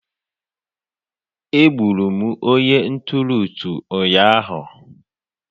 Egburu m onye nturu utu ụnyaahụ